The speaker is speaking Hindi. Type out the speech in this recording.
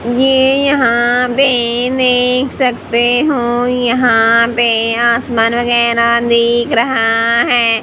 ये यहां पे देख सकते हो यहां पे आसमान वगैरा दिख रहा है।